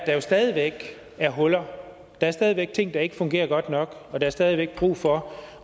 jo stadig væk er huller der er stadig væk ting der ikke fungerer godt nok og der er stadig væk brug for